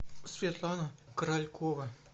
светлана королькова